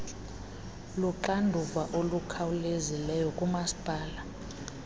luxanduva olukhawulezileyo kumasipala